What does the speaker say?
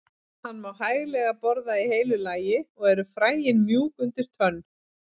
Hann má hæglega borða í heilu lagi og eru fræin mjúk undir tönn.